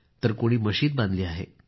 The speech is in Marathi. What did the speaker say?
तर कोणी मशिद बांधली आहे